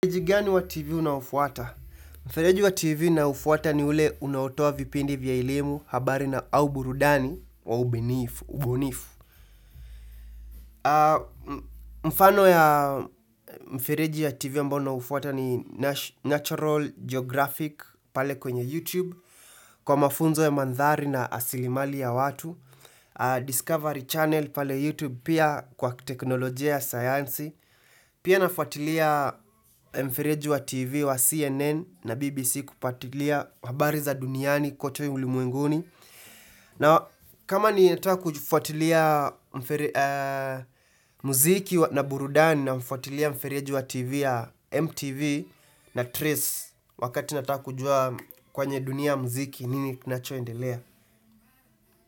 Mfereji gani wa TV na unaufuata? Mfereji wa TV ninayofuata ni ule unaotoa vipindi vya elimu habari na au burudani wa ubunifu. Mfano ya mfereji ya TV ambao naufuata ni natural Geographic pale kwenye YouTube, kwa mafunzo ya mandhari na asilimali ya watu, Discovery Channel pale YouTube pia kwa teknolojia ya sayansi, Pia nafuatilia mfereji wa TV wa CNN na BBC kupatilia habari za duniani kwote ulimwenguni na kama ninataka kufuatilia muziki na burudani na mfuatilia mfereji wa TV ya MTV na Trace Wakati nataka kujua kwenye dunia muziki nini kinachoendelea.